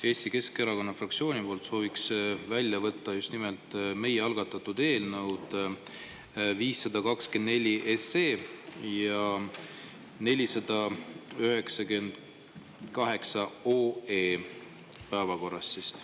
Eesti Keskerakonna fraktsioon sooviks päevakorrast välja võtta just nimelt meie algatatud eelnõud 524 ja 498.